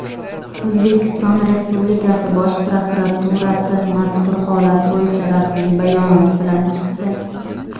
O‘zbekiston Respublikasi Bosh prokuraturasi mazkur holat bo‘yicha rasmiy bayonot bilan chiqdi.